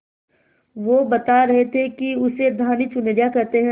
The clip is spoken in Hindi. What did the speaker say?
वो बता रहे थे कि उसे धानी चुनरिया कहते हैं